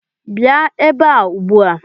Bịa ebe a ugbu a!